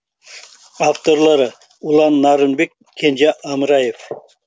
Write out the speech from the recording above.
авторлары ұлан нарынбек кенже амраев